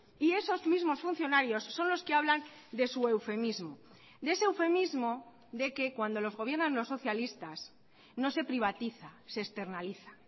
y esos mismos funcionarios son los que hablan de su eufemismo de ese eufemismo de que cuando los gobiernan los socialistas no se privatiza se externaliza